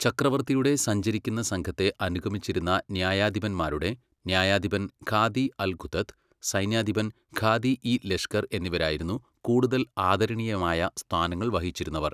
ചക്രവർത്തിയുടെ സഞ്ചരിക്കുന്ന സംഘത്തെ അനുഗമിച്ചിരുന്ന ന്യായാധിപന്മാരുടെ ന്യായാധിപൻ ഖാദി അല് ഖുദത്ത്, സൈന്യാധിപൻ ഖാദി യി ലഷ്കർ എന്നിവരായിരുന്നു കൂടുതൽ ആദരണീയമായ സ്ഥാനങ്ങൾ വഹിച്ചിരുന്നവർ.